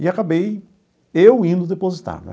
E acabei eu indo depositar né.